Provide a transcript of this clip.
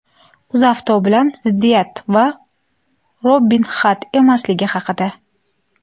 "UzAuto" bilan ziddiyat va "Robin Hud emasligi" haqida.